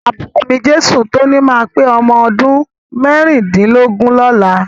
Àbúrò mi, Jesutoni ma pé ọmọdún mẹ́rìndínlógún lọ́la.